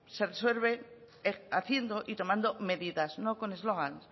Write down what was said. se resuelven haciendo y tomando medidas no con eslogan